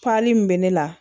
Pali min bɛ ne la